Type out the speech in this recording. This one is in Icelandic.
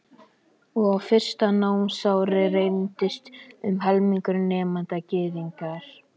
Og á fyrsta námsári reyndist um helmingur nemenda Gyðingar.